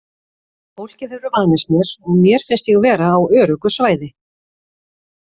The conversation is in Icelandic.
Fólkið hefur vanist mér og mér finnst ég vera á öruggu svæði.